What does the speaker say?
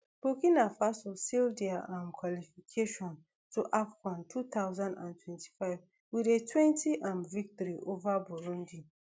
burkina faso seal dia um qualification to afcon two thousand and twenty-five wit a twenty um victory ova burundi